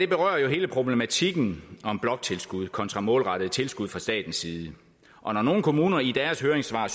berører jo hele problematikken om bloktilskud kontra målrettede tilskud fra statens side og når nogle kommuner i deres høringssvar